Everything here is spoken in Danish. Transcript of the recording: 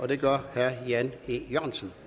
det gør herre jan e jørgensen